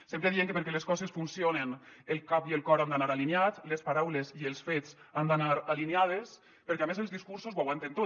sempre diem que perquè les coses funcionen el cap i el cor han d’anar alineats les paraules i els fets han d’anar alineades perquè a més els discursos ho aguanten tot